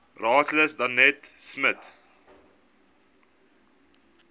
raadslid danetta smit